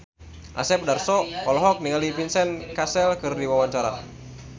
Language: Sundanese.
Asep Darso olohok ningali Vincent Cassel keur diwawancara